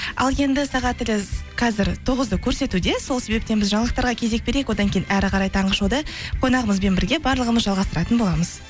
ал енді сағатымыз қазір тоғызды көрсетуде сол себептен біз жаңалықтарға кезек берейік одан кейін әрі қарай таңғы шоуды қонағымызбен бірге барлығымыз жалғастыратын боламыз